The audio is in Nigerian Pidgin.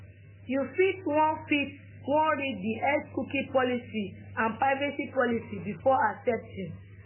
you fit wan fit wan read di x cookie policy and privacy policy before accepting